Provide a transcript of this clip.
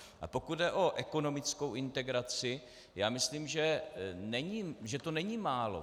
A pokud jde o ekonomickou integraci, já myslím, že to není málo.